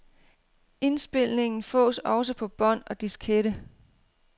Indspilningen fås også på bånd og diskette.